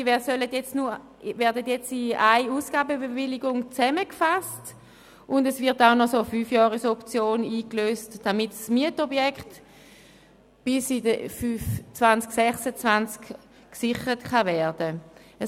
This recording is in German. Diese werden jetzt in einer Ausgabenbewilligung zusammengefasst, und es wird auch noch eine Fünfjahresoption eingelöst, damit das Mietobjekt bis 2026 gesichert werden kann.